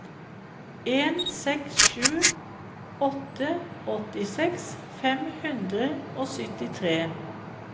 en seks sju åtte åttiseks fem hundre og syttitre